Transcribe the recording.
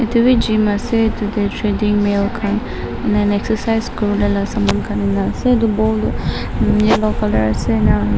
etu beh gym ase tu tey trading mill khan enahoina exercise la saman khan ena ase tu ball tu yellow colour ase ena hoina --